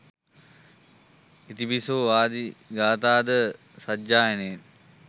ඉතිපිසෝ ආදී ගාථා ද සජ්ජායනයෙන්